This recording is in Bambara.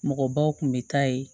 Mɔgɔbaw tun bɛ taa yen